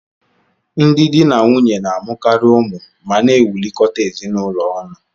Ndị di na nwunye na-amụkarị ụmụ ma na-ewulikota ezinụlọ ọnụ.